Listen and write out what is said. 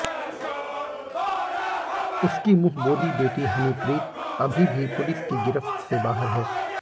उसकी मुंहबोली बेटी हनीप्रीत अभी भी पुलिस की गिरफ्त से बाहर है